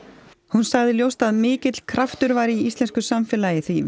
hún sagði ljóst að mikill kraftur væri í íslensku samfélagi því